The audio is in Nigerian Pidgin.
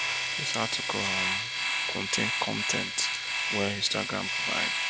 dis article um contain con ten t wey instagram provide